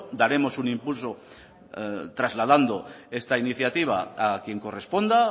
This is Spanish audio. daremos un impulso trasladando esta iniciativa a quien corresponda